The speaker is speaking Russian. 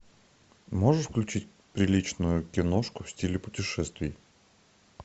можешь включить приличную киношку в стиле путешествий